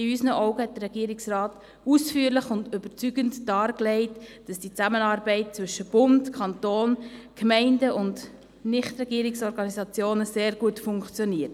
In unseren Augen hat der Regierungsrat ausführlich und überzeugend dargelegt, dass die Zusammenarbeit zwischen Bund, Kanton, Gemeinden und NGO sehr gut funktioniert.